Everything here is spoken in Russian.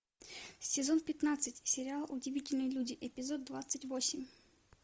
сезон пятнадцать сериал удивительные люди эпизод двадцать восемь